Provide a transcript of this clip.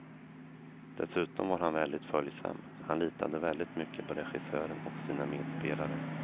Dessutom var han väldigt följsam, han litade väldigt mycket på regissören och sina medspelare.